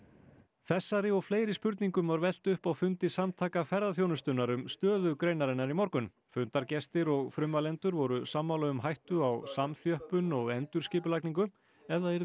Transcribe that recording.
þessari og fleiri spurningum var velt upp á fundi Samtaka ferðaþjónustunnar um stöðu greinarinnar í morgun fundargestir og frummælendur voru sammála um hættu á samþjöppun og endurskipulagningu ef það yrði